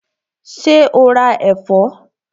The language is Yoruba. Ṣé o ra ẹ̀fọ́?